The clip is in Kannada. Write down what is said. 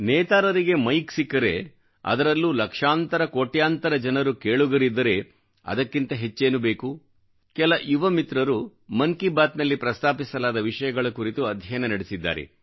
ನೇತಾರರಿಗೆ ಮೈಕ್ ಸಿಕ್ಕರೆ ಅದರಲ್ಲೂ ಲಕ್ಷಾಂತರ ಕೋಟ್ಯಾಂತರ ಜನರು ಕೇಳುಗರಿದ್ದರೆ ಅದಕ್ಕಿಂತ ಹೆಚ್ಚೇನು ಬೇಕು ಕೆಲ ಯುವ ಮಿತ್ರರು ಮನ್ ಕಿ ಬಾತ್ ನಲ್ಲಿ ಪ್ರಸ್ತಾಪಿಸಲಾದ ವಿಷಯಗಳ ಕುರಿತು ಅಧ್ಯಯನ ನಡೆಸಿದ್ದಾರೆ